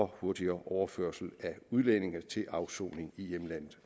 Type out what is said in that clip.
hurtigere overførsel af udlændinge til afsoning i hjemlandet